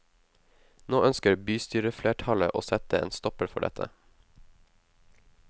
Nå ønsker bystyreflertallet å sette en stopper for dette.